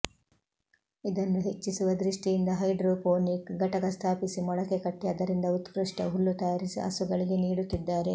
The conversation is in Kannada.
ಇದನ್ನು ಹೆಚ್ಚಿಸುವ ದೃಷ್ಠಿಯಿಂದ ಹೈಡ್ರೊಪೋನಿಕ್ ಘಟಕ ಸ್ಥಾಪಿಸಿ ಮೊಳಕೆ ಕಟ್ಟಿ ಅದರಿಂದ ಉತ್ಕೃಷ್ಟ ಹುಲ್ಲು ತಯಾರಿಸಿ ಹಸುಗಳಿಗೆ ನೀಡುತ್ತಿದ್ದಾರೆ